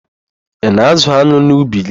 Ị na-ázụ̀ an̄ụ n'ubi gị?